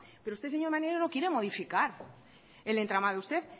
pero usted señor maneiro no quiere modificar el entramado usted